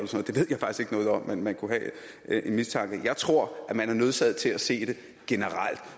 noget om men man kunne have en mistanke jeg tror at man er nødsaget til at se det generelt